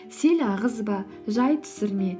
сел ағызба жай түсірме